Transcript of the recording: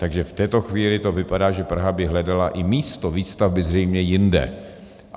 Takže v této chvíli to vypadá, že Praha by hledala i místo výstavby zřejmě jinde.